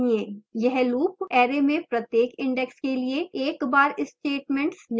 यह loop array में प्रत्येक index के लिए एक बार statements निष्पादित करता है